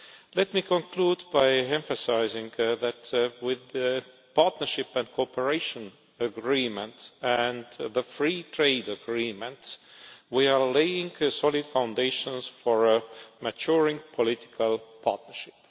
Let me conclude by emphasising that, with the partnership and cooperation agreement and the free trade agreement, we are laying solid foundations for a maturing political partnership.